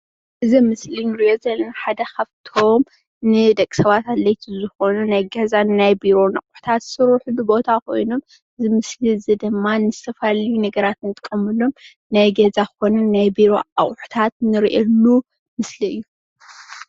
እዚ ኣብ ምስሊ እንሪኦ ዘለና ሓደ ካብቶም ንደቂ ሰባት ኣድለይቲ ዝኮኑ ናይ ገዛን ናይ ቢሮን ኣቁሑታት ዝስርሕሉ ቦታ ኮይኑ እዚ ምስሊ እዙይ ድማ ን ዝተፈላለዩ ነገራት እንጥቀመሎም ናይ ገዛ ኮኑ ናይ ቢሮ ኣቁሑታት እንሪኤሉ ምስሊ እዩ